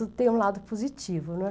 Tudo tem um lado positivo, né.